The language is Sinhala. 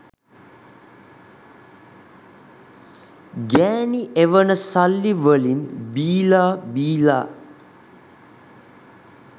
ගෑණි එවන සල්ලි වලින් බීලා බීලා